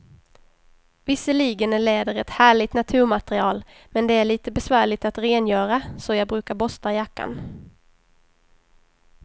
Visserligen är läder ett härligt naturmaterial, men det är lite besvärligt att rengöra, så jag brukar borsta jackan.